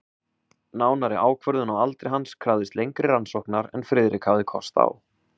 Nánari ákvörðun á aldri hans krafðist lengri rannsóknar en Friðrik hafði átt kost á.